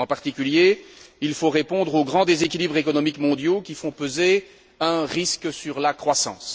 En particulier, il faut répondre aux grands déséquilibres économiques mondiaux qui font peser un risque sur la croissance.